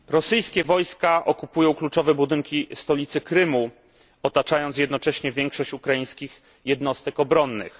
Rosyjskie wojska okupują kluczowe budynki stolicy Krymu, otaczając jednocześnie większość ukraińskich jednostek obronnych.